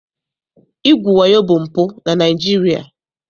Igwu wayo bụ mpụ na Naịjirịa.